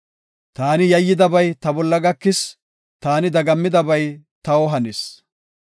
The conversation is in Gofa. Taani yayyidabay ta bolla gakis; taani dagammidabay taw hanis.